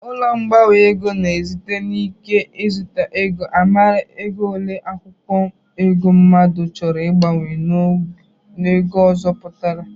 Ụlọ mgbanwe ego na-esite n'ike nzụta ego amara ego ole akwụkwọ ego mmadụ chọrọ ịgbanwe n'ego ọzọ pụtara